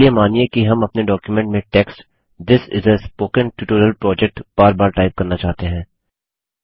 चलिए मानिए कि हम अपने डॉक्युमेंट में टेक्स्ट थिस इस आ स्पोकेन ट्यूटोरियल प्रोजेक्ट बार बार टाइप करना चाहते हैं